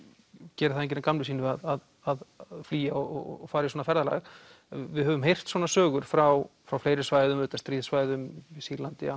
gerir það enginn að gamni sínu að flýja og fara í svona ferðalag við höfum heyrt svona sögur frá frá fleiri svæðum stríðssvæðum í Sýrlandi